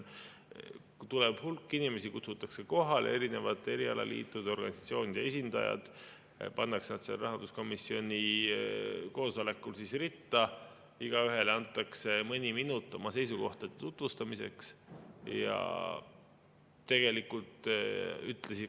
Hulk inimesi kutsutakse kohale, erinevate erialaliitude ja organisatsioonide esindajad pannakse sellel rahanduskomisjoni koosolekul ritta, igaühele antakse mõni minut oma seisukohtade tutvustamiseks.